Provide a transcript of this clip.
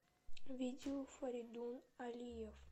видео фаридун алиев